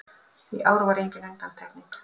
Í ár var engin undantekning